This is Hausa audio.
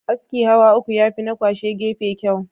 Askin hawa uku yafi na kwashe gefe kyau.